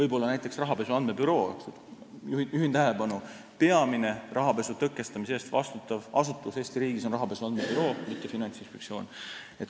Juhin tähelepanu sellele, et peamine rahapesu tõkestamise eest vastutav asutus Eesti riigis on rahapesu andmebüroo, mitte Finantsinspektsioon.